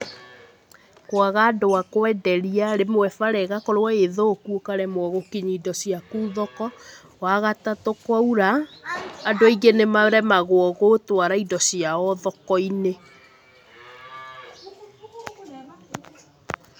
Kwaga andũ a kwenderia, rĩmwe bara ĩgakorwo ĩ thũku ũkaremwo gũkinyia indo ciaku thoko. Wa gatatũ, kwaura andũ aingĩ nĩmaremagwo gũtwara indo ciao thoko-inĩ.